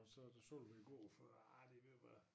Og så da solgte vi æ gård for arh det ved at være